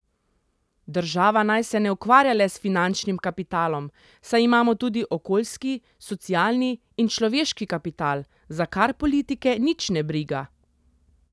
Država naj se ne ukvarja le s finančnim kapitalom, saj imamo tudi okoljski, socialni in človeški kapital, za kar politike nič ne briga.